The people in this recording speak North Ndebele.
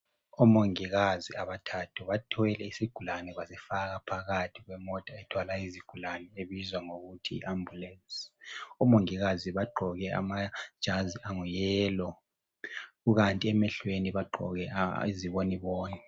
Omongikazi abathathu bathwele isigulane. Basifaka phakathi kwemota ethwala izigulane, ebizwa ngokuthi yi- ambulance. Omongikazi bagqoke amajazi ayi- yellow. Kukanti emehlweni bagqoke iziboniboni.